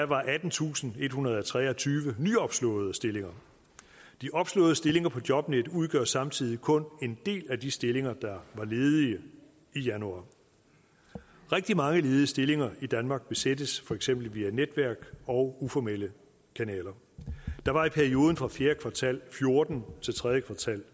var attentusinde og ethundrede og treogtyve nyopslåede stillinger de opslåede stillinger på jobnet udgør samtidig kun en del af de stillinger der var ledige i januar rigtig mange ledige stillinger i danmark besættes for eksempel via netværk og uformelle kanaler der var i perioden fra fjerde kvartal fjorten til tredje kvartal